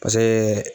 Paseke